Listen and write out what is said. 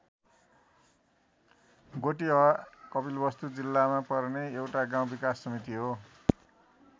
गोटिहवा कपिलवस्तु जिल्लामा पर्ने एउटा गाउँ विकास समिति हो।